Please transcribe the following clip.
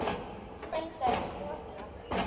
Snælda er Snotra